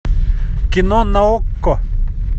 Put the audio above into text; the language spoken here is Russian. кино на окко